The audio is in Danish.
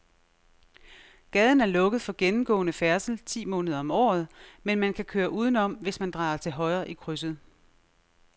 Gaden er lukket for gennemgående færdsel ti måneder om året, men man kan køre udenom, hvis man drejer til højre i krydset.